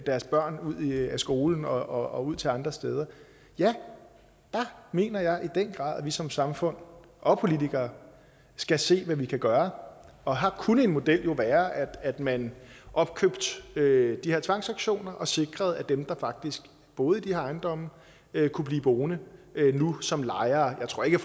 deres børn ud af skolen og til andre steder ja der mener jeg i den grad at vi som samfund og politikere skal se på hvad vi kan gøre og her kunne en model jo være at man opkøbte ved de her tvangsauktioner så man sikrede at dem der faktisk boede i de her ejendomme kunne blive boende nu som lejere jeg tror ikke